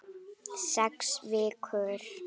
Sex vikur.